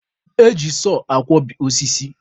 Eji sọọ akwọbi osisi.